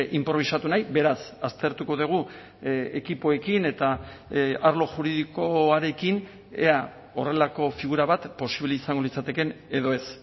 inprobisatu nahi beraz aztertuko dugu ekipoekin eta arlo juridikoarekin ea horrelako figura bat posible izango litzatekeen edo ez